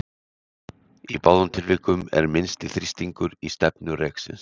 í báðum tilvikum er minnsti þrýstingur í stefnu reksins